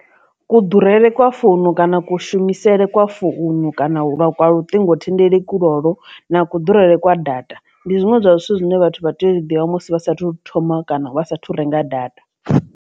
Ku ḓurele kwa founu kana kushumisele kwa founu kana lwa kwa luṱingothendeleki lwolwo na kuhulele kwa data ndi zwiṅwe zwa zwithu zwine vhathu vha tea u zwi ḓivha musi asathu thoma kana vha sa thu renga data.